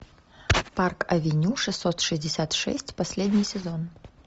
парк авеню шестьсот шестьдесят шесть последний сезон